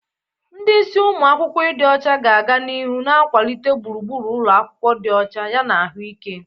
Ndi isi umu akwukwo ịdị ọcha ga-aga n'ihu na-akwalite gburugburu ụlọ akwụkwọ dị ọcha yana ahụike.